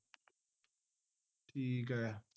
ਠੀਕ ਹੈ